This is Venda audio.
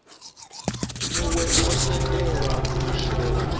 muwe o tendelwa u shela